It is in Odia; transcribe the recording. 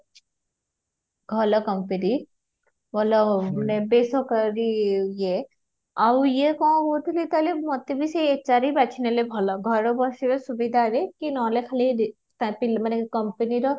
ଭଲ company ମାନେ ଭଲ ବେଶ କରି ଯେ ଆଉ ଯେ କଣ କହୁଥିଲି ତହଲେ ମତେ ଭି ସେ HR ହି ବାଛି ନେଲେ ଭଲ ଘରେ ବସିବେ ସୁବିଧା ରେ କି ନହେଲେ ଖାଲି company ର